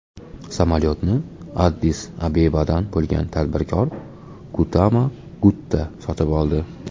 Samolyotni Addis-Abebadan bo‘lgan tadbirkor Guttama Gutta sotib oldi.